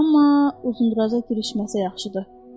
Amma uzunduraza girişməsə yaxşıdır.